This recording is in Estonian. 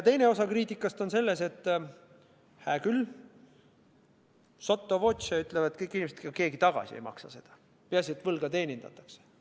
Teine osa kriitikast on see, et hää küll, sotto voce öeldakse, et ega keegi seda tagasi ei maksa, peaasi, et võlga teenindatakse.